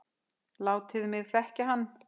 Látið mig þekkja hann